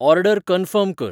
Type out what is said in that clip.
order confirm कर